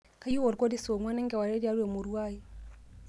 kayieu olkoti saa onguan enkewarie tiatua emurua aai